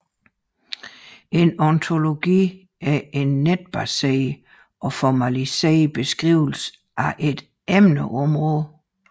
En ontologi er en netbaseret og formaliseret beskrivelse af et emneområde